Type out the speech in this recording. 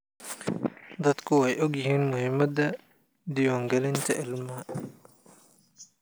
Dadku way ogyihiin muhiimada diwaan galinta ilmaha.